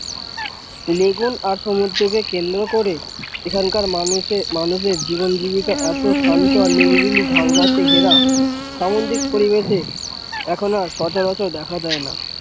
Lagoon আর সমুদ্র কে কেন্দ্র করে এখানকার মানুষ দের জীবন জীবিকা এত শান্ত আর নিরিবিলি ঝাউ গাছে ঘেরা সামদ্রিক পরিবেশে এখন আর সচারাচার দেখা যায় না।